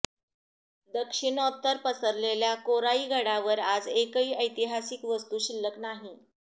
दक्षिणोत्तर पसरलेल्या कोराईगडावर आज एकही ऐतिहासिक वास्तू शिल्लक नाही